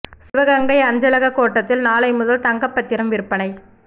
சிவகங்கை அஞ்சலக கோட்டத்தில் நாளை முதல் தங்கப் பத்திரம் விற்பனை